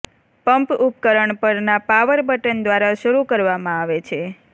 pump ઉપકરણ પરના power button દ્વારા શરૂ કરવામાં આવે છે